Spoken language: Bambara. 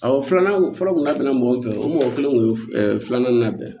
Awɔ filanan fɔlɔ tun ka tɛmɛ mɔgɔ min fɛ o mɔgɔ kelen kun ye filanan labɛn